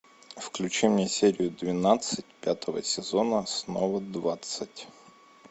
включи мне серию двенадцать пятого сезона снова двадцать